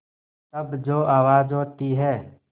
तब जो आवाज़ होती है